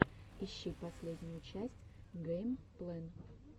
ищи последнюю часть гэймплэн